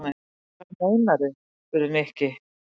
Hvað meinarðu? spurði Nikki.